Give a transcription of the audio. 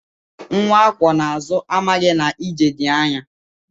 Nwa akwọ n'azụ amaghị na ije dị anya.